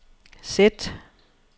sæt